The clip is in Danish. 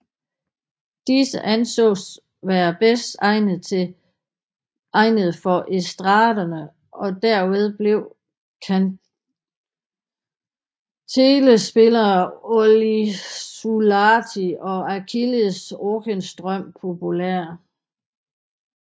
Disse ansås være bedst egnede for estraderne og derved blev kantelespillerne Olli Suolahti og Achilles Ockenström populære